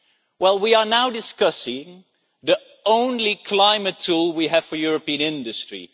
Well, we are now discussing the only climate tool we have for European industry.